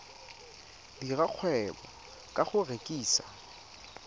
dira kgwebo ka go rekisa